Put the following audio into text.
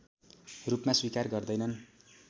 रूपमा स्वीकार गर्दैनन्